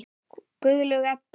Guðlaug Edda.